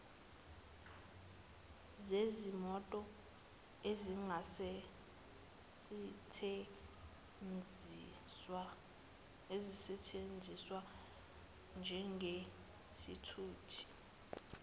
zezimoto ezingasesthenziswa njengezithuthi